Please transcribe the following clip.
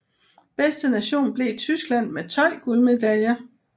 Bedste nation blev Tyskland med 12 guldmedaljer